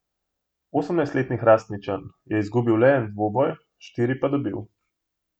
Osemnajstletni Hrastničan je izgubil le en dvoboj, štiri pa dobil.